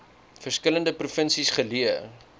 verskillende provinsies geleë